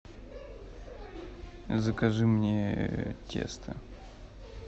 закажи мне тесто